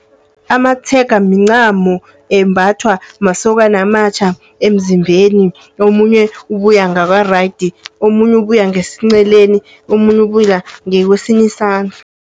Amatshega mincamo embhathwa masokana amatjha emzimbeni. Omunye ubuya ngakwa-right, omunye ubuya ngesinceleni, omunye ubuya ngakwesinye isandla.